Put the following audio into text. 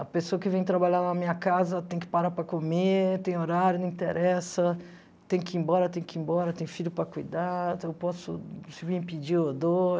A pessoa que vem trabalhar na minha casa tem que parar para comer, tem horário, não interessa, tem que ir embora, tem que ir embora, tem filho para cuidar, eu posso...se me pedir eu dou.